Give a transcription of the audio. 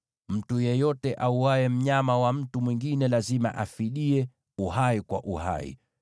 Mtu yeyote auaye mnyama wa mtu mwingine lazima afidie, uhai kwa uhai.